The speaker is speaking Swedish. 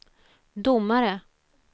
domare